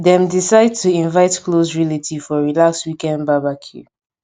dem decide to invite close relatives for relaxed weekend barbecue